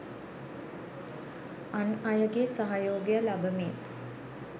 අන් අයගේ සහයෝගය ලබමින්